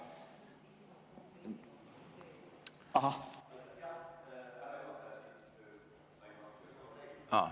Ahah!